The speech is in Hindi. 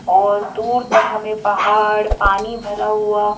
और दूर तक हमें पहाड़ पानी भरा हुआ--